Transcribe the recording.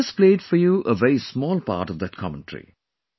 I just played for you a very small part of that commentary